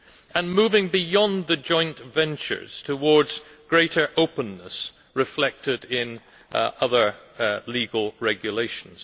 and moving beyond the joint ventures towards greater openness, reflected in other legal regulations.